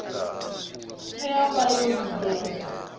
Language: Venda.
tea u vha yo lugela